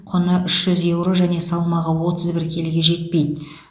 құны үш жүз еуро және салмағы отыз бір келіге жетпейді